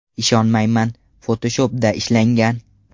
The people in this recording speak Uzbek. Ishonmayman: Photoshop’da ishlangan!.